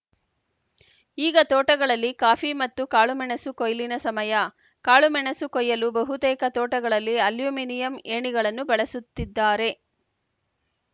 ಈಗ ತೋಟಗಳಲ್ಲಿ ಕಾಫಿ ಮತ್ತು ಕಾಳುಮೆಣಸು ಕೊಯ್ಲಿನ ಸಮಯ ಕಾಳುಮೆಣಸು ಕೊಯ್ಯಲು ಬಹುತೇಕ ತೋಟಗಳಲ್ಲಿ ಅಲ್ಯುಮನಿಯಂ ಏಣಿಗಳನ್ನು ಬಳಸುತ್ತಿದ್ದಾರೆ